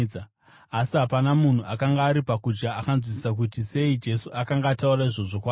asi hapana munhu akanga ari pakudya akanzwisisa kuti sei Jesu akanga ataura izvozvo kwaari.